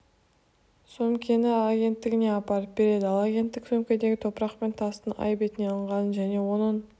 сөмкені агенттігіне апарып береді ал агенттік сөмкедегі топырақ пен тастың ай бетінен алынғанын және оның